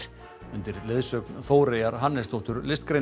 undir leiðsögn Þóreyjar Hannesdóttur